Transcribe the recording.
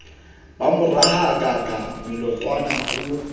ba mo rahakaka molatoane o